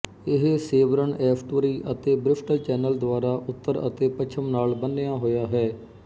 ਇਹ Severn estuary ਅਤੇ Bristol Channel ਦੁਆਰਾ ਉੱਤਰ ਅਤੇ ਪੱਛਮ ਨਾਲ ਬੰਨ੍ਹਿਆ ਹੋਇਆ ਹੈ